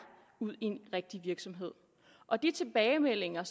ud i en rigtig virksomhed og de tilbagemeldinger